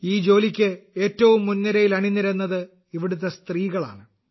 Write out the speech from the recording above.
ഈ ജോലിക്ക് ഏറ്റവും മുൻനിരയിൽ അണി നിരന്നത് ഇവിടത്തെ സ്ത്രീകളാണ്